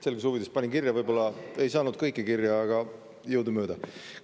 Selguse huvides panin kirja, võib-olla ei saanud kõike kirja, aga jõudumööda.